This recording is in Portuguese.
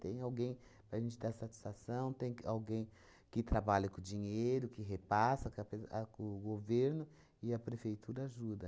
Tem alguém para a gente dar satisfação, tem que alguém que trabalha com o dinheiro, que repassa que apesa a com o governo, e a prefeitura ajuda.